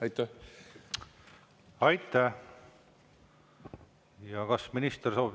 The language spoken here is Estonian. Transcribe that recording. Kas minister soovib?